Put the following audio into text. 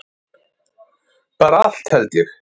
Bara allt held ég.